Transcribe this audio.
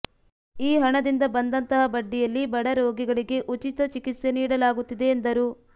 ಈ ಹಣದಿಂದ ಬಂದಂತಹ ಬಡ್ಡಿಯಲ್ಲಿ ಬಡ ರೋಗಿಗಳಿಗೆ ಉಚಿತ ಚಿಕಿತ್ಸೆ ನೀಡಲಾಗುತ್ತಿದೆ ಎಂದರು